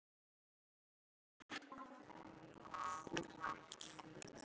Daðína ætlaði að svara einhverju, en orðin komu ekki.